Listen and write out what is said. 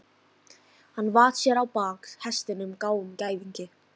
Hann vatt sér á bak hestinum, gráum gæðingi.